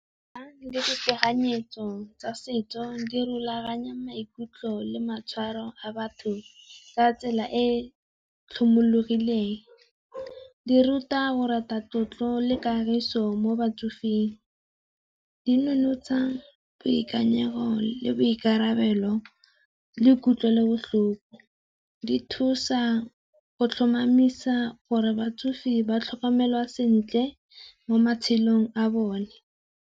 Mekgwa le ditekanyetso tsa setso di rulaganya maikutlo le maitshwaro a batho ka tsela e e tlhomologileng. Di ruta go rata tlotlo le kagiso mo batsofeng, di nonotsa boikanyego, le boikarabelo, le kutlwelobotlhoko. Di thusa go tlhomamisa gore batsofe ba tlhokomelwa sentle mo matshelong a bone.